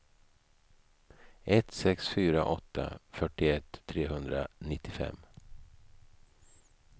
ett sex fyra åtta fyrtioett trehundranittiofem